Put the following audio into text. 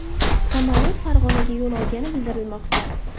Samolyot Farg‘onaga yo‘l olgani bildirilmoqda.